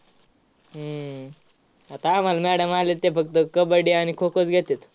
हम्म आता आम्हाला madam आल्यात त्या फक्त कबड्डी आणि खो-खोच घेत्यात.